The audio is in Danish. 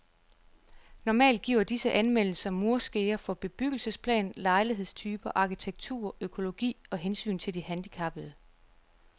Normalt giver disse anmeldelser murskeer for bebyggelsesplan, lejlighedstyper, arkitektur, økologi og hensyn til de handicappede.